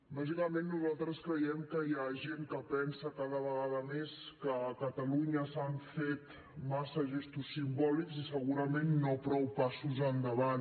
bàsicament nosaltres creiem que hi ha gent que pensa cada vegada més que a catalunya s’han fet massa gestos simbòlics i segurament no prou passos endavant